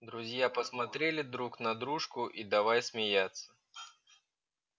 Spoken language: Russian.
друзья посмотрели друг на дружку и давай смеяться